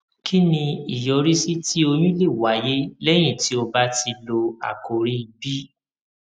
kí ni ìyọrísí tí oyún lè wáyé léyìn tí o bá ti lo àkòrí b